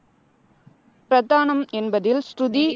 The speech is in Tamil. பிரதானம் என்பதில் சுருதி